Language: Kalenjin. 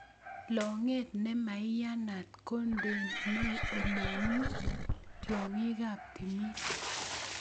Logeet ne maiyanat kondenoi ole ng'ui tyong'iikab timin.